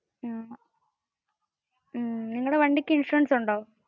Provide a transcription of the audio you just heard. നിങ്ങടെ വണ്ടിക് ഇൻഷുറൻസ് ഉണ്ടോ?